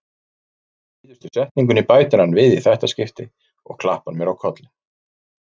Síðustu setningunni bætir hann við í þetta skipti og klappar mér á kollinn.